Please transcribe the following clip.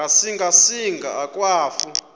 ngasinga singa akwafu